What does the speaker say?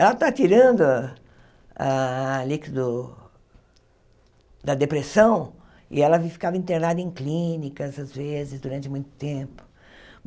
Ela está tirando a líquido da depressão e ela ficava internada em clínica, às vezes, durante muito tempo.